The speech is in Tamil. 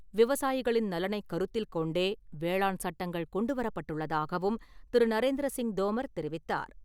விவசாயிகளின் நலனைக் கருத்தில் கொண்டே வேளாண் சட்டங்கள் கொண்டு வரப்பட்டுள்ளதாகவும் திரு. நரேந்திர சிங் தோமர் தெரிவித்தார்.